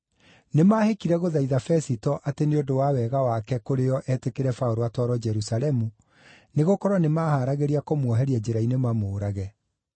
Nĩmahĩkire gũthaitha Fesito atĩ nĩ ũndũ wa wega wake kũrĩ o etĩkĩre Paũlũ atwarwo Jerusalemu, nĩgũkorwo nĩmahaaragĩria kũmuoheria njĩra-inĩ mamũũrage.